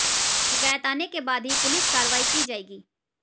शिकायत आने के बाद ही पुलिस कार्रवाई की जाएगी